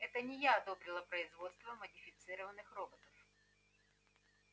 это не я одобрила производство модифицированных роботов